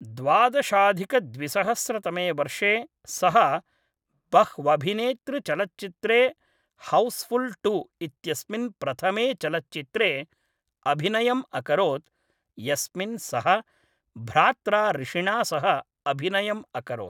द्वादशाधिकद्विसहस्रतमे वर्षे सः बह्वभिनेतृचलच्चित्रे हौस्फुल् टु इत्यस्मिन् प्रथमे चलच्चित्रे अभिनयम् अकरोत्, यस्मिन् सः भ्रात्रा ऋषिणा सह अभिनयम् अकरोत्।